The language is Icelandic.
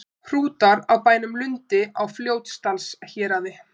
Hrútar á bænum Lundi á Fljótsdalshéraði.